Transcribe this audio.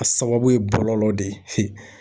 A sababu ye bɔlɔlɔ de ye